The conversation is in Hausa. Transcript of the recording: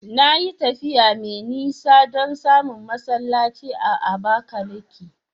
Na yi tafiya mai nisa don samun masallaci a Abakaliki.